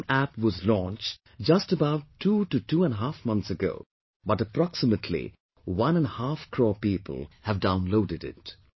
The BHIMApp was launched just about two to two and a half months ago, but approximately one and half crore people have downloaded it